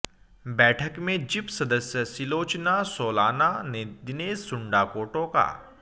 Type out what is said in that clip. बैठक में जिप सदस्य सिलोचना सोलाना ने दिनेश सुंडा को टोका